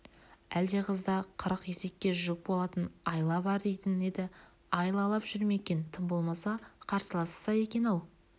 әлде қызда қырық есекке жүк болатын айла бар дейтін еді айлалап жүр ме екен тым болмаса қарсыласса екен-ау